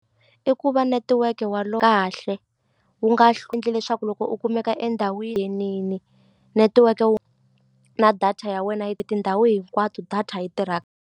I ku va netiweke wa kahle wu nga endli leswaku loko u kumeka netiweke wu na data ya wena yi tindhawu hinkwato data yi tirha.